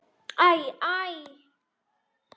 Æ, æ!